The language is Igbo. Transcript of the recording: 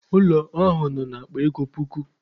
Ụlọ ahụ nọ na akpa ego puku.